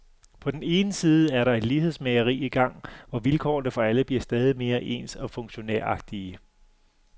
På den ene side er der et lighedsmageri i gang, hvor vilkårene for alle bliver stadig mere ens og funktionæragtige.